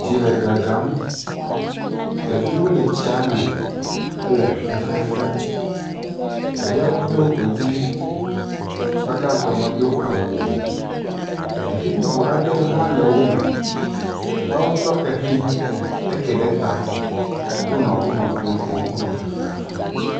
Tsi le dzadzam. Ɖeviwo le tsia me hele fefe fem. Ɖeviawo do godi. Akpa gãtɔ medo awu o. Ɖevi bubu aɖewo le wome. Woawo tsɔ xexi, eke ɖe ta wonɔ wo nɔviwo kpɔm, wonɔ fefea fem